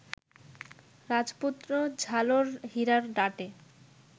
রাজপুত্র ঝালর হীরার ডাঁটে